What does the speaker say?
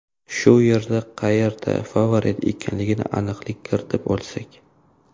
Shu yerda qayerda favorit ekanligiga aniqlik kiritib o‘tsak.